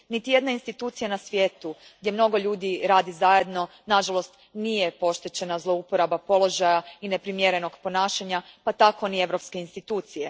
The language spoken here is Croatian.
Niti jedna institucija na svijetu gdje mnogo ljudi radi zajedno, nažalost, nije pošteđena zlouporabe položaja i neprimjernog ponašanja pa tako niti europske institucije.